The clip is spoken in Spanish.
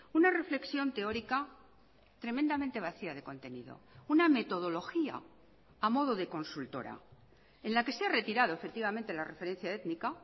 una reflexión teórica tremendamente vacía de contenido una metodología a modo de consultora en la que se ha retirado efectivamente la referencia étnica